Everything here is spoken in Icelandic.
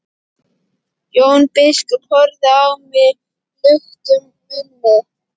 Jón biskup horfði á hann luktum munni.